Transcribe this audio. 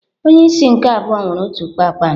Onye isi nke abụọ nwere otu kpakpando.